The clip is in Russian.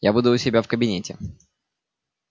я буду у себя в кабинете